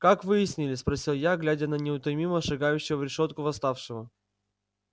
как выяснили спросил я глядя на неутомимо шагающего в решётку восставшего